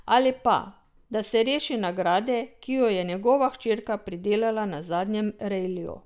Ali pa, da se reši nagrade, ki jo je njegova hčerka pridelala na zadnjem rejliju.